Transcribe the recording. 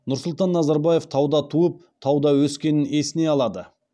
нұрсұлтан назарбаев тауда туып тауда өскенін есіне алады